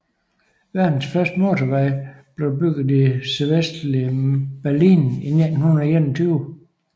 Verdens første motorvej blev bygget i det sydvestlige Berlin i 1921